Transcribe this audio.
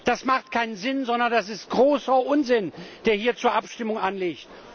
Das ergibt keinen Sinn, sondern das ist großer Unsinn, der hier zur Abstimmung anliegt.